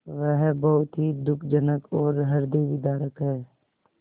वह बहुत ही दुःखजनक और हृदयविदारक है